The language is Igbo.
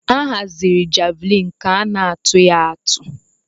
Ahaziri javlin ka ana atụ ya atụ.